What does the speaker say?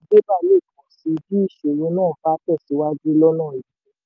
àdínkù owó bébà le pọ̀ síi bí ìṣòro náà bá tẹ̀síwájú lọ́nà yìí.